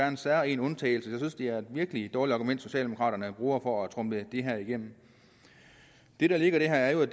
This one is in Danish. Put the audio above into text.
en særegen undtagelse jeg synes det er et virkelig dårligt argument socialdemokraterne bruger for at tromle det her igennem det der ligger i det her er